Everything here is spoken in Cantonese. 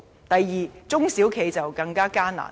第二，中小企的經營更加艱難。